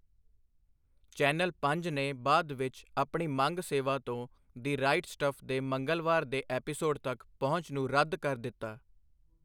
Channel ਪੰਜ ਨੇ ਬਾਅਦ ਵਿੱਚ ਆਪਣੀ ਮੰਗ ਸੇਵਾ ਤੋਂ ਦਿ ਰਾਈਟ ਸਟੱਫ ਦੇ ਮੰਗਲਵਾਰ ਦੇ ਐਪੀਸੋਡ ਤੱਕ ਪਹੁੰਚ ਨੂੰ ਰੱਦ ਕਰ ਦਿੱਤਾ।